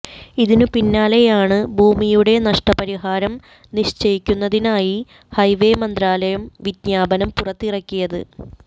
ഇതിന് പിന്നാലെയാണ് ഭൂമിയുടെ നഷ്ടപരിഹാരം നിശ്ചയിക്കുന്നതിനായി ഹൈവെ മന്ത്രാലയം വിജ്ഞാപനം പുറത്തിറക്കിയത്